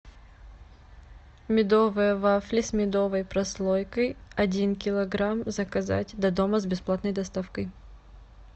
медовые вафли с медовой прослойкой один килограмм заказать до дома с бесплатной доставкой